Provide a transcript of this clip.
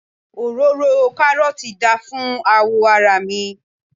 òróró karọọti da fún awọ ara mi